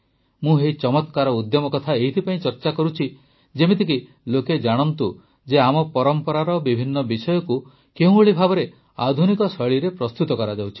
ମୁଁ ଏହି ଚମତ୍କାର ଉଦ୍ୟମ କଥା ଏଇଥିପାଇଁ ଚର୍ଚା କରୁଛି ଯେପରିକି ଲୋକେ ଜାଣନ୍ତୁ ଯେ ଆମ ପରମ୍ପରାର ବିଭିନ୍ନ ବିଷୟକୁ କେଉଁଭଳି ଭାବେ ଆଧୁନିକ ଶୈଳୀରେ ପ୍ରସ୍ତୁତ କରାଯାଉଛି